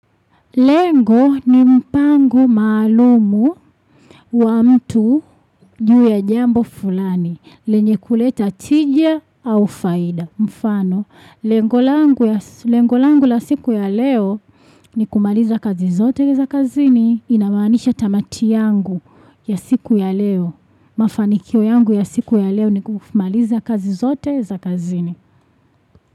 Lengo ni mpango maalumu wa mtu juu ya jambo fulani, lenye kuleta tija au faida. Mfano, lengo langu la siku ya leo ni kumaliza kazi zote za kazini, ina maanisha tamati yangu ya siku ya leo. Mafanikyo yangu ya siku ya leo ni kumaliza kazi zote za kazini.